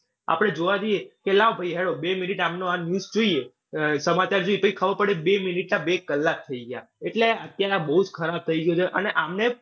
આપડે જોવા જઈએ કે લાવ ભાઈ હેંડો બે મિનિટ આમનો આ news જોઈએ, સમાચાર જોઈએ. પછી ખબર પડે કે બે મિનિટના બે કલાક થઈ ગયા. એટલે અત્યારે આ બઉ જ ખરાબ થઈ ગયું છે અને આમને